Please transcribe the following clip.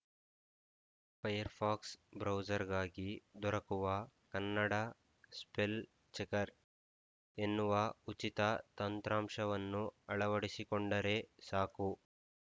Firefox ಬ್ರೌಸರ್‌ಗಾಗಿ ದೊರಕುವ Kannada spell checker ಎನ್ನುವ ಉಚಿತ ತಂತ್ರಾಂಶವನ್ನು ಅಳವಡಿಸಿಕೊಂಡರೆ ಸಾಕು